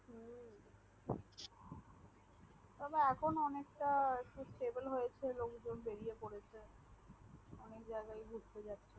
তবে এখন অনকে তা হয়েছে লোক জন বেরিয়ে পড়েছে